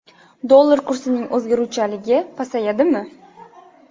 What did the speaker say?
Dollar kursining o‘zgaruvchanligi pasayadimi?